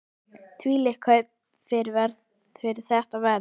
Þvílík kaup fyrir þetta verð!